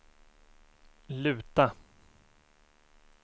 luta